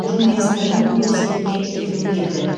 түрікменстаннан өз еліме келгім келді